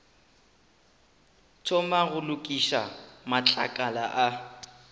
thomang go lokiša matlakala a